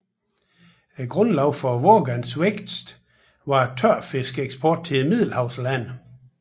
Grundlaget for Vågans vækst var tørfiskeksporten til middelhavslandene